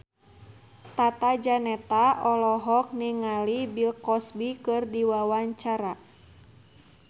Tata Janeta olohok ningali Bill Cosby keur diwawancara